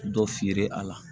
Dɔ feere a la